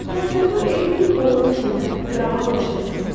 Təsəvvür edin ki, bolluq içində, firavan yaşayırsınız.